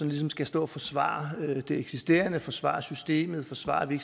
ligesom skal stå og forsvare det eksisterende forsvare systemet forsvare at vi